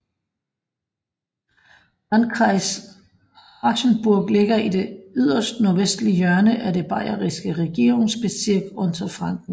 Landkreis Aschaffenburg ligger i det yderst nordvestlige hjørne af det bayerske Regierungsbezirk Unterfranken